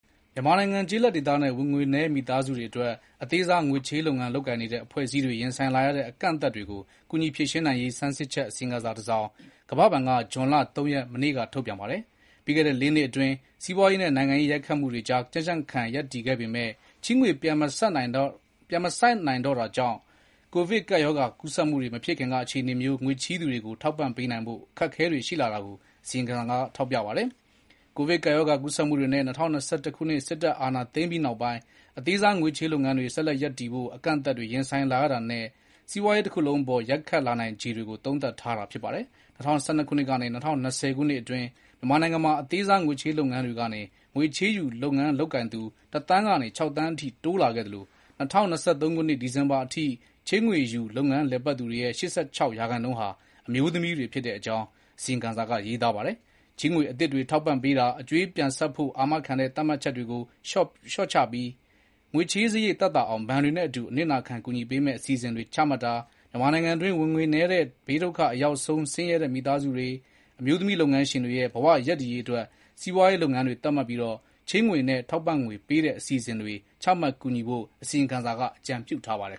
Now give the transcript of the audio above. မြန်မာနိုင်ငံ ကျေးလက်ဒေသနဲ့ ဝင်ငွေနည်းမိသားစုတွေအတွက် အသေးစားချေးငွေလုပ်ငန်းလုပ်ကိုင်နေတဲ့ အဖွဲ့အစည်းတွေ ရင်ဆိုင်လာရတဲ့ အကန့်အအသတ်တွေကို ကူညီဖြေရှင်းနိုင်ရေး ဆန်းစစ်ချက် အစီရင်ခံစာတစောင် ကမ္ဘာဘဏ်က မနေ့က ထုတ်ပြန်ပါတယ်။ ပြီးခဲ့တဲ့ လေးနှစ် စီးပွားရေးနဲ့ နိုင်ငံရေး ရိုက်ခတ်မှုတွေကြား ကြံ့ကြံ့ခံရပ်တည်ခဲ့ပေမဲ့ ချေးငွေ ပြန်မဆပ်နိုင်တော့တာတွေများလာတာကြောင့် ကိုဗစ်ကပ်ရောဂါ ကူးစက်မှုတွေ မဖြစ်ခင်က အခြေအနေမျိုး ငွေချေးသူတွေကို ထောက်ပံ့ပေးနိုင်ဖို့ အခက်အခဲတွေ ရှိလာတာကို အစီရင်ခံစာက ထောက်ပြပါတယ်။ ကိုဗစ်ကပ်ရောဂါ ကူးစက်မှုတွေနဲ့ ၂၀၂၁ ခုနှစ် စစ်တပ်အာဏာသိမ်းပြီးနောက်ပိုင်း အသေးစားငွေချေးလုပ်ငန်းတွေ ဆက်လက် ရပ်တည်ဖို့ အကန့်အသတ်တွေ ရင်ဆိုင်လာရတာနဲ့ စီးပွားရေးတခုလုံးအပေါ် ရိုက်ခတ်နိုင်ခြေတွေကို သုံးသပ်ထားတာ ဖြစ်ပါတယ်။ ၂၀၁၂ ခုနှစ်ကနေ ၂၀၂၀ ခုနှစ်အတွင်း မြန်မာနိုင်ငံမှာ အသေးစားငွေချေးလုပ်ငန်းတွေကနေ ငွေချေးယူ လုပ်ငန်းလုပ်ကိုင်သူ တသန်းကနေ ခြောက်သန်းအထိ တိုးလာခဲ့သလို ၂၀၂၃ ခုနှစ် ဒီဇင်ဘာလအထိ ချေးငွေယူ လုပ်ငန်းလည်ပတ်သူတွေရဲ့ ၈၆ ရာခိုင်နှုန်းဟာ အမျိုးသမီးတွေ ဖြစ်တဲ့ အကြောင်း အစီရင်ခံစာက ရေးသားပါတယ်။ ချေးငွေ အသစ်တွေ ထောက်ပံ့ပေးတာ၊ အကြွေးပြန်ဆပ်ဖို့ အာမခံတဲ့ သတ်မှတ်ချက်တွေကို လျော့ချပြီး ငွေချေးစရိတ်သက်သာအောင်နဲ့ ဘဏ်တွေနဲ့အတူ အနစ်နာခံ ကူညီပေးမယ့် အစီအစဉ်တွေ ချမှတ်တာ၊ မြန်မာနိုင်ငံအတွင်း ဝင်ငွေနည်းတဲ့ ဘေးဒုက္ခအရောက်ဆုံး ဆင်းရဲတဲ့ မိသားစုတွေ၊ အမျိုးသမီး လုပ်ငန်းရှင်တွေ ရဲ့ ဘဝရပ်တည်ရေးအတွက် စီးပွားရေးလုပ်ငန်းတွေ သတ်မှတ်ပြီး ချေးငွေနဲ့ ထောက်ပံ့ငွေ ပေးတဲ့ အစီအစဉ်တွေ ချမှတ် ကူညီဖို့ အစီရင်ခံစာက အကြံပြုထားပါတယ်